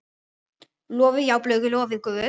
Lofið, já, lofið Guð.